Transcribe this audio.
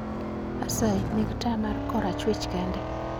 Asayi neg taya mar korachwich kende